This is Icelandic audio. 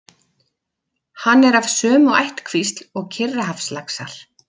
Hann er af sömu ættkvísl og Kyrrahafslaxar.